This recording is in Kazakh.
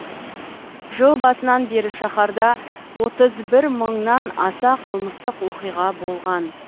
жыл басынан бері шаһарда отыз бір мыңнан аса қылмыстық оқиға болған